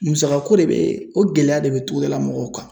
Musaka ko de be o gɛlɛya de be togodalamɔgɔw kan